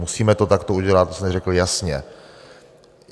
Musíme to takto udělat, to jsme řekli jasně.